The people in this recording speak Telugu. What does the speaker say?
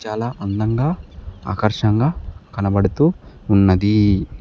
చాలా అందంగా ఆకర్షంగా కనబడుతూ ఉన్నది.